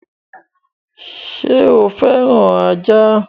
Sọ fẹ́ràn ajá?